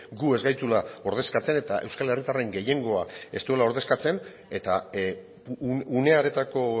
gu ez gaituela ordezkatzen eta euskal herritarren gehiengoa ez duela ordezkatzen eta une hartako